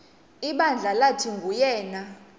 ibandla lathi nguyena